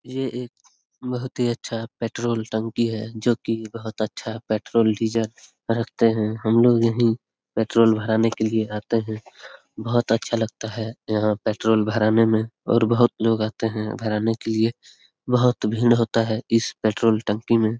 यह एक बहुत ही अच्छा पेट्रोल टंकी है जो की बहुत अच्छा पेट्रोल डीजल रखते है । हम लोग यही पेट्रोल भराने के लिए आते है । बहुत अच्छा लगता है यह पेट्रोल भराने में और बहुत लोग आते है भराने के लिए बहुत भीड़ होता है इस पेट्रोल टंकी में ।